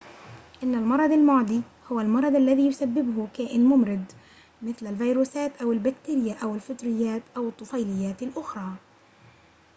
إن المرض المعدي هو المرض الذي يسببّه كائن ممرض مثل الفيروسات أو البكتيريا أو الفطريّات أو الطفيليّات الأخرى